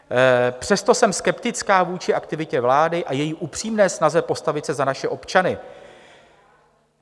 Přesto jsem skeptická vůči aktivitě vlády a její upřímné snaze postavit se za naše občany.